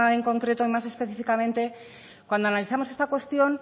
en concreto más específicamente cuando analizamos esta cuestión